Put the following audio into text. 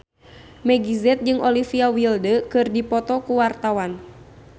Meggie Z jeung Olivia Wilde keur dipoto ku wartawan